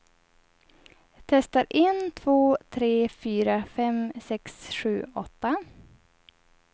Testar en två tre fyra fem sex sju åtta.